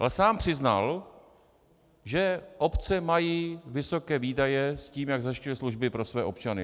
Ale sám přiznal, že obce mají vysoké výdaje s tím, jak zajišťují služby pro své občany.